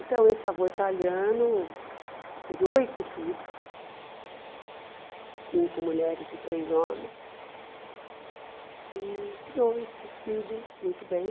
Então, esse avô italiano teve oito filhos, cinco mulheres e três homens, e criou esses filhos muito bem.